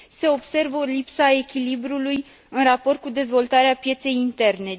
Se observă o lipsă a echilibrului în raport cu dezvoltarea pieței interne.